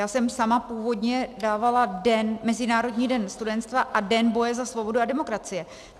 Já jsem sama původně dávala Mezinárodní den studenstva a Den boje za svobodu a demokracii.